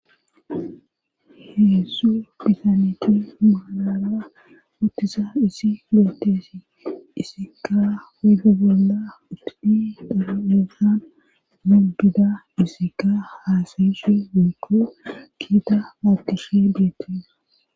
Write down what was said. Heedzdzu bisaniti malara ottisa isi beettesi isika uydu bolla utidi daaeesan dudida isika haasayishe biikko kiita aakishe biittisa.